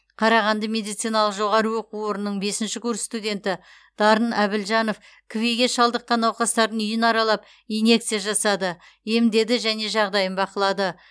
қарағанды медициналық жоғары оқу орнының бесінші курс студенті дарын әбілжанов кви ге шалдыққан науқастардың үйін аралап инъекция жасады емдеді және жағдайын бақылады